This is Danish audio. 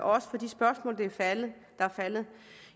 også for de spørgsmål der er faldet